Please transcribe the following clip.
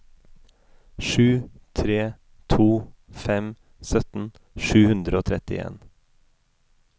sju tre to fem sytten sju hundre og trettien